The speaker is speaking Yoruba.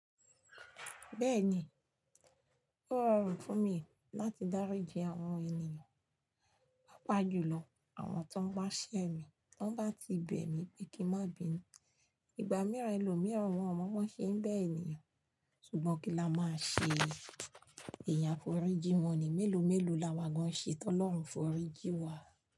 Bẹ́ẹ̀ni, ó rọrùn fún mi láti dáríji àwọn ènìyàn, pàápàá jùlọ àwọn tó ń bá ṣẹ́ mi tón bá ti bẹ̀ mí pé kí n má bi nú. Ìgbà mìíràn, ẹlòmíràn wọ̀n ọ́n mọ́ ṣé ń bẹ́ ènìyàn ṣùgbọ́n kí la máa ṣe? Èèyàn à foríji wọn ni, mélòó mélòó la wà gan-an ṣe tọ́lọ́run foríji wa.